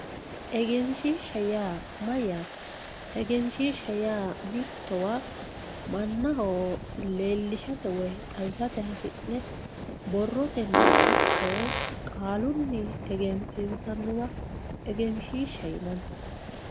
egenshiishsha yaa mayyaate? egenshiishsha yaa mittowa mannaho leellishsate woyi xawisate hasi'ne borrotenni ikko qaalunni egensiinsanniwa egenshiishsha yinanni